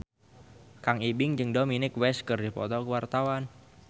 Kang Ibing jeung Dominic West keur dipoto ku wartawan